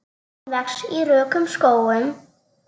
Hún vex í rökum skógum.